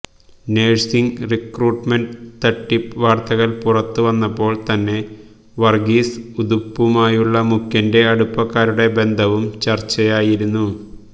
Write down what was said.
nursing recruitment തട്ടിപ്പ് വാര്ത്തകള് പുറത്ത് വന്നപ്പോള് തന്നെ വര്ഗീസ് ഉതുപ്പുമായുള്ള മുഖ്യന്റെ അടുപ്പക്കാരുടെ ബന്ധവും ചര്ച്ചയായിരുന്നു